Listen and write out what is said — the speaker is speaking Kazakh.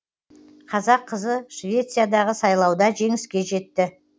қазақ қызы швециядағы сайлауда жеңіске жетті